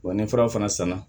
Wa ni fura fana sanna